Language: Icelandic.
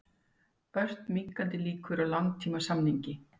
Ört minnkandi líkur á langtímasamningi